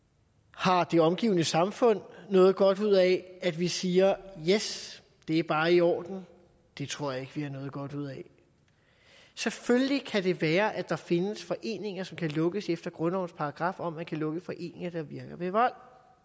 har det omgivende samfund noget godt ud af at vi siger yes det er bare i orden det tror jeg vi har noget godt ud af selvfølgelig kan det være at der findes foreninger som kan lukkes efter grundlovens paragraf om at man kan lukke foreninger der virker ved vold